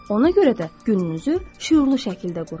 Ona görə də gününüzü şüurlu şəkildə qurun.